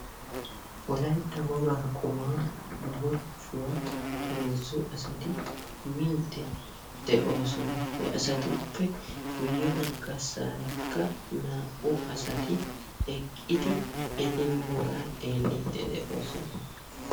Wolaytta wogaa qumaa muchchuwaa heezzu asati miidde de'oosona. He asatuppe guyyebaggasaarakka naa''u eqqidi eti miyoogaa xeellidde de'oosona.